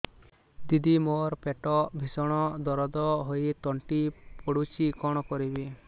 ଦିଦି ମୋର ପେଟ ଭୀଷଣ ଦରଜ ହୋଇ ତଣ୍ଟି ପୋଡୁଛି କଣ କରିବି